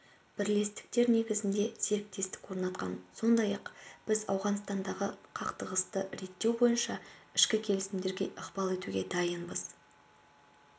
бірлестіктер негізінде серіктестік орнатқан сондай-ақ біз ауғанстандағы қақтығысты реттеу бойынша ішкі келісімдерге ықпал етуге дайынбыз